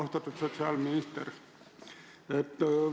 Austatud sotsiaalminister!